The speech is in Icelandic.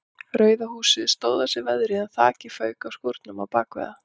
Rauða húsið stóð af sér veðrið en þakið fauk af skúrnum á bakvið það.